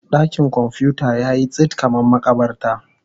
Dakin kwamfuta yayi tsit kamar makabarta.